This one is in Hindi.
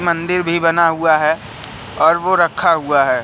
मंदिर भी बना हुआ है और वो रखा हुआ है।